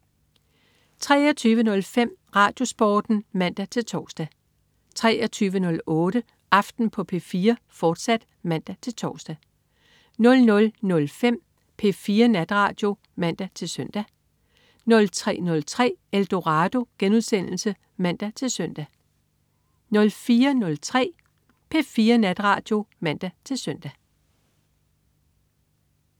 23.05 RadioSporten (man-tors) 23.08 Aften på P4, fortsat (man-tors) 00.05 P4 Natradio (man-søn) 03.03 Eldorado* (man-søn) 04.03 P4 Natradio (man-søn)